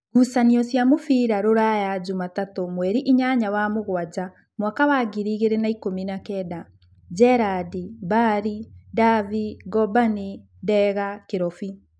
Ngucanio cia mũbira Ruraya Jumatatũ mweri inyanya wa mũgwanja mwaka wa ngiri igĩrĩ na ikũmi na kenda: Njerandi, Mbarĩ, Ndavi, Ngamboni, Ndega, Kĩrobi